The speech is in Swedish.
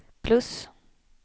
plus